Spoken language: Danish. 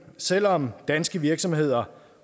selv om danske virksomheder